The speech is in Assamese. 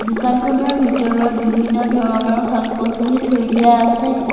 দোকানখনৰ ভিতৰত বিভিন্ন ধৰণৰ শাক-পাছলি থৈ দিয়া আছে।